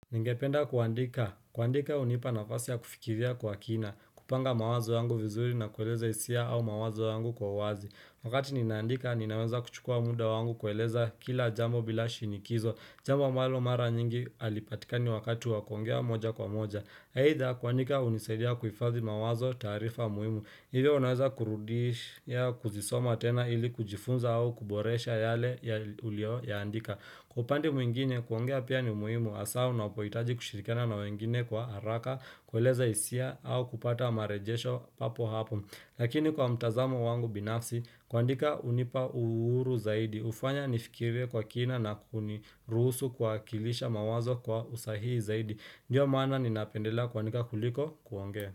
Ningependa kuandika. Kuandika unipa nafasi ya kufikiria kwa kina. Kupanga mawazo yangu vizuri na kueleza hisia au mawazo yangu kwa uwazi. Wakati ninaandika, ninaweza kuchukua munda wangu kueleza kila jambo bila shinikizo. Jambo ambalo mara nyingi alipatika ni wakati wa kuongea moja kwa moja. Haidha kuandika unisaidia kuifazi mawazo au taarifa muhimu. Hivyo unaweza kurudish ya kuzisoma tena ili kujifunza au kuboresha yale ulio yaandika. Kwa upande mwingine kuongea pia ni muhimu asa unapoitaji kushirikiana na wengine kwa haraka kueleza isia au kupata marejesho papo hapo. Lakini kwa mtazamo wangu binafsi kuandika unipa uhuru zaidi ufanya nifikire kwa kina na kunirusu kuwakilisha mawazo kwa usahihi zaidi. Ndiyo mana ni napendela kuandika kuliko kuongea.